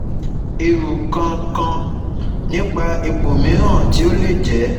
Ero kan kan nipa ipo miran ti o le je